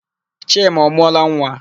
Chima ọ mụọla nwa?